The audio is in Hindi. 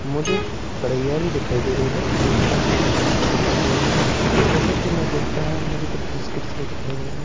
मुझे कढ़ैया भी दिखाई दे रही है मुझे कांच के गिलास भी दिखाई दे रहे हैं जैसा कि मैं देख पा रहा हूं मुझे कुछ बिस्कुट्स भी दिखाई दे रहे हैं।